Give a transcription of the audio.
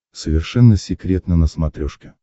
совершенно секретно на смотрешке